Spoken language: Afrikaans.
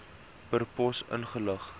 per pos ingelig